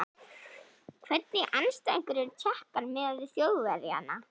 Hvernig andstæðingar eru Tékkar miðað við Þjóðverjana?